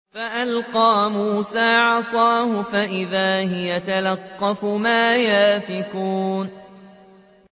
فَأَلْقَىٰ مُوسَىٰ عَصَاهُ فَإِذَا هِيَ تَلْقَفُ مَا يَأْفِكُونَ